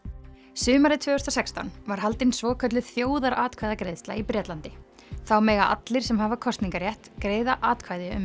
sumarið tvö þúsund og sextán var haldin svokölluð þjóðaratkvæðagreiðsla í Bretlandi þá mega allir sem hafa kosningarétt greiða atkvæði um